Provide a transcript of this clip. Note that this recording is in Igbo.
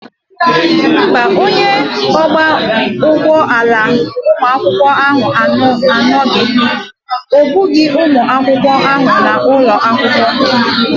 Mba, onye ọkwọ ụgbọala ụlọakwụkwọ anaghị ebuga ụmụ akwụkwọ ahụ n'ụlọ akwụkwọ.